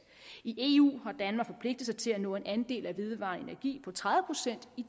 i eu har danmark forpligtet sig til at nå en andel af vedvarende energi på tredive procent i